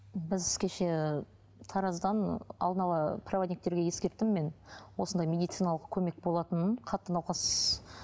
біз кеше тараздан алдын ала проводниктерге ескерттім мен осындай медициналық көмек болатынын қатты науқас